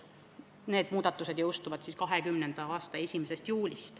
Need muudatused jõustuvad 2020. aasta 1. juulist.